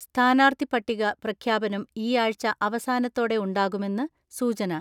സ്ഥാനാർത്ഥിപ്പട്ടിക പ്രഖ്യാപനം ഈ ആഴ്ച അവസാനത്തോടെ ഉണ്ടാകുമെന്ന് സൂചന.